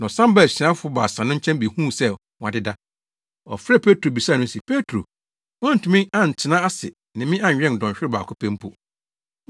Na ɔsan baa asuafo baasa no nkyɛn behuu sɛ wɔadeda. Ɔfrɛɛ Petro bisaa no se, “Petro, woantumi antena ase ne me anwɛn dɔnhwerew baako pɛ mpo?